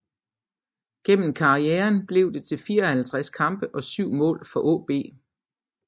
Gennem karrieren blev det til 54 kampe og 7 mål for AaB